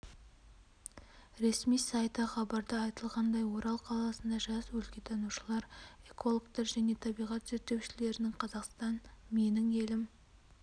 ресми сайты хабарда айтылғандай орал қаласында жас өлкетанушылар экологтар және табиғат зерттеушілерінің қазақстан менің елім